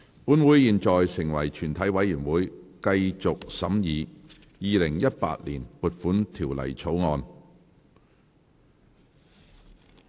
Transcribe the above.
本會現在成為全體委員會，繼續審議《2018年撥款條例草案》。